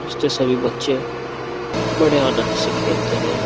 Stay सभी बच्चे बड़े आनंद से खेलते हैं।